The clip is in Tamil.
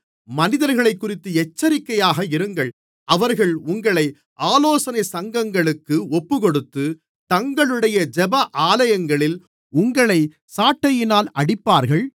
மனிதர்களைக்குறித்து எச்சரிக்கையாக இருங்கள் அவர்கள் உங்களை ஆலோசனைச் சங்கங்களுக்கு ஒப்புக்கொடுத்து தங்களுடைய ஜெப ஆலயங்களில் உங்களைச் சாட்டையினால் அடிப்பார்கள்